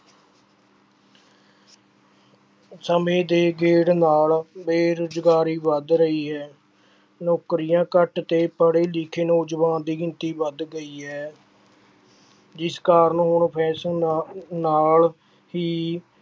ਸਮੇਂ ਦੇ ਗੇੜ ਨਾਲ ਬੇਰੁਜ਼ਗਾਰੀ ਵੱਧ ਰਹੀ ਹੈ, ਨੌਕਰੀਆਂ ਘੱਟ ਤੇ ਪੜ੍ਹੇ ਲਿਖੇ ਨੌਜਵਾਨ ਦੀ ਗਿਣਤੀ ਵੱਧ ਗਈ ਹੈ ਜਿਸ ਕਾਰਨ ਹੁਣ fashion ਨਾ ਨਾਲ ਹੀ